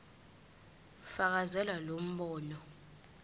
fakazela lo mbono